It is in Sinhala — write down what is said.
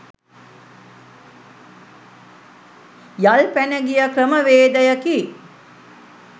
යල්පැන ගිය ක්‍රමවේදයකි